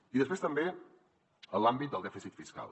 i després també l’àmbit del dèficit fiscal